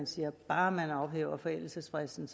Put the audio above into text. sige at bare man ophæver forældelsesfristen